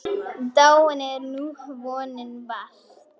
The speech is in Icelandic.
Dáin er nú vonin bjarta.